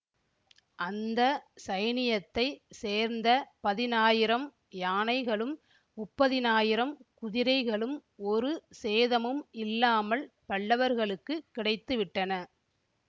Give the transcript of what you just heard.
அந்த சைனியத்தைச் சேர்ந்த பதினாயிரம் யானைகளும் முப்பதினாயிரம் குதிரைகளும் ஒரு சேதமும் இல்லாமல் பல்லவர்களுக்குக் கிடைத்து விட்டன